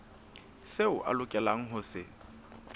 seo a lokelang ho se